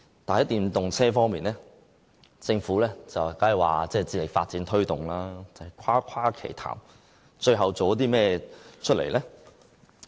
但在電動車方面，政府雖然說會致力發展推動，但只是誇誇其談，最後做了甚麼？